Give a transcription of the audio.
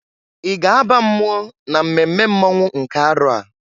I ga aba mmụọ na mmemme mmonwụ nke arọ a?